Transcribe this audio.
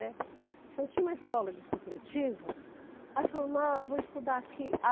Né. Então, tinha uma escola de supletivo, aí eu falei, vou estudar aqui.